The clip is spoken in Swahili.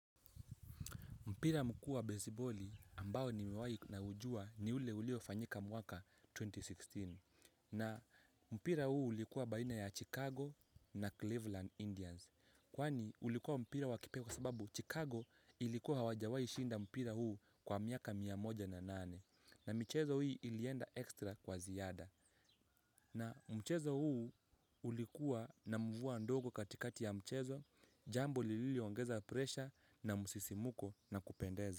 Mpira mkuu beziboli ambao nimewahi na ujua ni ule uliofanyika mwaka elfu mbili na kumi na sita. Na mpira huu ulikuwa baina ya Chicago na Cleveland Indians. Kwani ulikuwa mpira wakipe kwa sababu Chicago ilikuwa hawajawai shinda mpira huu kwa miaka mia moja na nane. Na michezo hii ilienda ekstra kwa ziada. Na mchezo huu ulikuwa na mvua ndogo katikati ya mchezo. Jambo lililiongeza presha na msisimuko na kupendeza.